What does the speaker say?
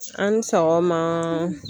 A' ni sɔgɔma